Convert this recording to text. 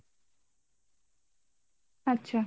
আচ্ছা